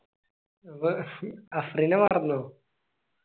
ഇപ്പൊ അഫ്രിനെ മറന്നോ